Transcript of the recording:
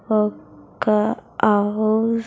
ఒక్క ఆవు--